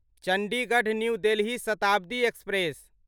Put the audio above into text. Chandigarh New Delhi Shatabdi express